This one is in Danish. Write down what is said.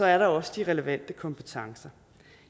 er der også de relevante kompetencer